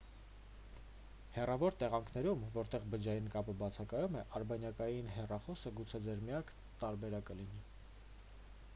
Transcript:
հեռավոր տեղանքներում որտեղ բջջային կապը բացակայում է արբանյակային հեռախոսը գուցե ձեր միակ տարբերակը լինի